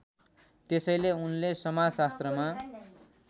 त्यसैले उनले समाजशास्त्रमा